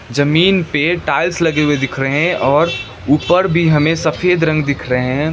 जमीन पे टाइल्स लगे हुए दिख रहे हैं और ऊपर भी हमें सफेद रंग दिख रहे हैं।